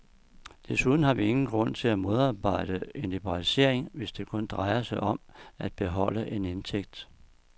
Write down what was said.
Desuden har vi ingen grund til at modarbejde en liberalisering, hvis det kun drejer sig om at beholde en indtægt.